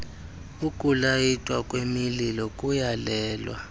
ukulayitwa kwemililo kuyalelwa